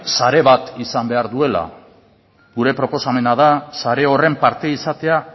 sare bat izan behar duela gure proposamena da sare horren parte izatea